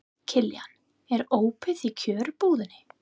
Kiljan, er opið í Kjörbúðinni?